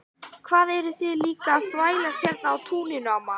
Hvað eruð þið líka að þvælast hérna á túninu amma?